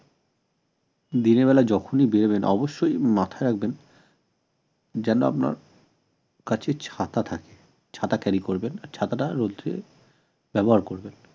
দিনের বেলা যখনই বেরোবেন অবশ্যই মাথায় রাখবেন যেন আপনার কাছে ছাতা থাকে ছাতা carry করবেন ছাতাটা রোদ্রে ব্যবহার করবেন